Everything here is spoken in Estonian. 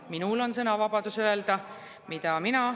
Minul on sõnavabadus öelda, mida mina …